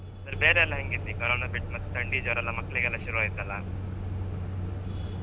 ಅಂದ್ರೆ ಬೇರೆಲ್ಲ ಹೆಂಗ್ ಇತ್ತ್ ಈ corona ಬಿಟ್ಟ್, ಥಂಡಿ ಜ್ವರ ಎಲ್ಲ ಮಕ್ಕಳಿಗ್ ಶುರುಆಯ್ತಲ್ಲ .